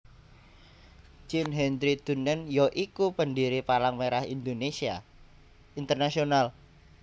Jean Henry Dunant ya iku pendiri Palang Merah Internasional